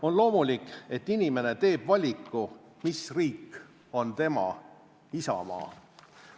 On loomulik, et inimene teeb valiku, mis riik on tema isamaa.